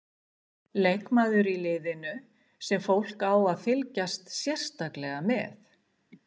Leikmaður í liðinu sem fólk á að fylgjast sérstaklega með?